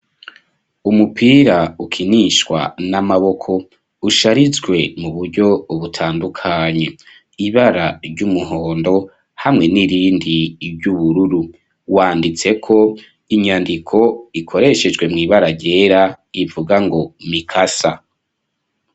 Umupira ukinishwa n'amaboko, usharijwe mu buryo butandukanye, ibara ry'umuhondo, hamwe n'irindi ry'ubururu, wanditseko inyandiko ikoreshejwe mw'ibara ryera, ivuga ngo mikasa.